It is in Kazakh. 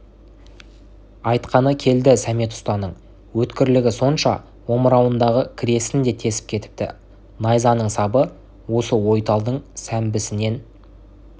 айтқаны келді сәмет ұстаның өткірлігі сонша омырауындағы кресін де тесіп кетіпті найзаның сабы осы ойталдың сәмбісінен